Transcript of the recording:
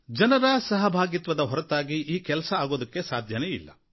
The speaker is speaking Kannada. ಜನರ ಸಹಭಾಗಿತ್ವದ ಹೊರತಾಗಿ ಈ ಕೆಲಸ ಅಗುವುದಕ್ಕೆ ಸಾಧ್ಯವೇ ಇಲ್ಲ